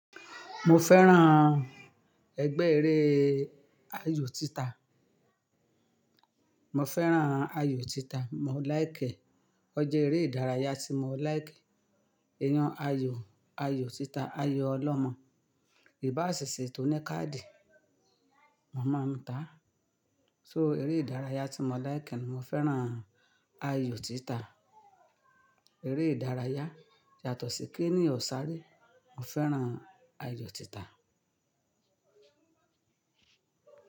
Mo fẹ́ràn ẹgbẹ́ eré ayò títa. Mo fẹ́ràn ayò títa, mo like e Ọjà eré ìdárayá tí mo like. Eyan ayò, ayò títa, ayò ọlọ́mọ, ìbáṣẹ̀sẹ̀ tó ní káàdì. Mo máa ń ta á. So eré ìdárayá tí mo like ni mo fẹ́ràn ayò títa. Eré ìdárayá yàtọ̀ sí kìí èniyan ò ṣàré. Mo fẹ́ràn ayò títa.